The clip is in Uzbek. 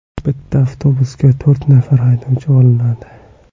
Bitta avtobusga to‘rt nafar haydovchi olinadi.